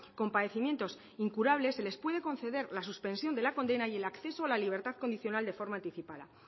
con padecimientos incurables se les puede conceder la suspensión de la condena y el acceso a la libertad condicional de forma anticipada